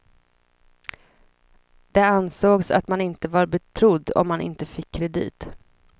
Det ansågs att man inte var betrodd om man inte fick kredit.